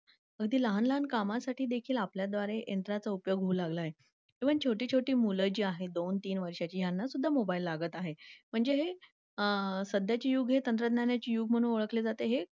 अगदी लहान लहान कामांसाठीदेखील आपल्या द्वारे यंत्राचा उपयोग होऊ लागला आहे. तुम्ही छोटी छोटी मुलं जी आहे दोन तीन वर्षांची यांना सुद्धा मोबाईल लागत आहे. म्हणजे हे आह सध्याचे युग हे तंत्रज्ञानाचे युग म्हणून ओळखले जाते हे